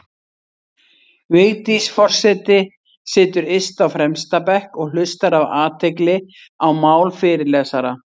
Vigdís forseti situr yst á fremsta bekk og hlustar af athygli á mál fyrirlesara.